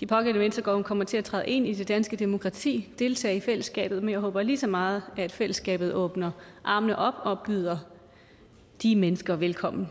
de pågældende mennesker kommer til at træde ind i det danske demokrati og deltage i fællesskabet men jeg håber lige så meget at fællesskabet åbner armene og byder de mennesker velkommen